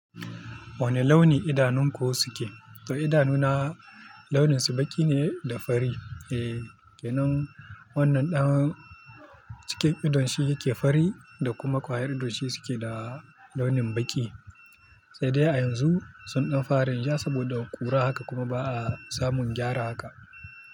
Wane launi idanunku suke? To idanuna launinsu baƙi ne da fari. Eh kenan wannan ɗan cikin idon shi yake fari da kuma kwayar idon shi suke da launin baƙi. Sai dai a yanzu sun ɗan fara rinjaya saboda kura haka kuma ba a samun gyara haka.